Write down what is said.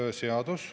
Hea Eesti rahvas!